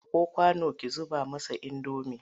Ɗauko kwano ki zuba masa indomi!